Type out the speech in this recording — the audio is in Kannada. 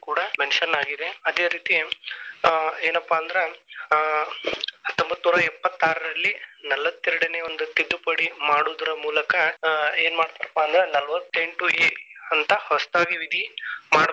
ಕೂಡಾ mention ಆಗಿದೆ. ಅದೆ ರೀತಿ ಏನಪ್ಪಾ ಅಂದ್ರ ಆ ಹತ್ತೊಂಬತ್ತನೂರಾ ಎಪ್ಪತ್ತಾರಲ್ಲಿ ನಲವತ್ತೆರಡನೆ ಒಂದು ತಿದ್ದುಪಡಿ ಮಾಡುದರ ಮೂಲಕ ಏನ ಮಾಡ್ತರಪಾ ಅಂದ್ರ ನಲವತ್ತೆಂಟು A ಅಂತ ಹೊಸತಾಗಿ ವಿಧಿ.